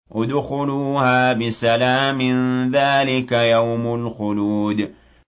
ادْخُلُوهَا بِسَلَامٍ ۖ ذَٰلِكَ يَوْمُ الْخُلُودِ